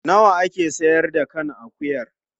Nawa a ke sayar da kan akuyar?